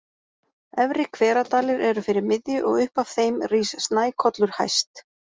Efri-Hveradalir eru fyrir miðju, og upp af þeim rís Snækollur hæst.